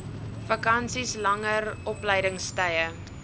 vakansies langer opleidingstye